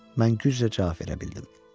Mən güclə cavab verə bildim.